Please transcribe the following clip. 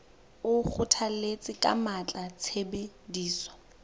o kgothalletsa ka matla tshebediso